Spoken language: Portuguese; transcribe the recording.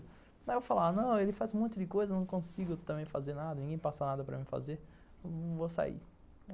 Aí eu falava, não, ele faz um monte de coisa, não consigo também fazer nada, ninguém passa nada para mim fazer, eu vou sair.